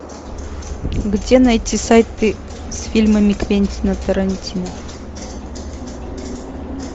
где найти сайты с фильмами квентина тарантино